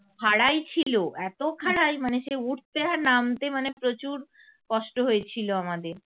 খাড়াই ছিল এত খাড়াই মানে সে উঠতে আর নামতে প্রচুর কষ্ট হয়েছিল আমাদের ।